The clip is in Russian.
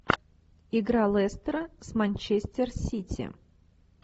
игра лестера с манчестер сити